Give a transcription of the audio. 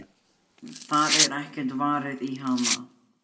Það er ekkert varið í hana.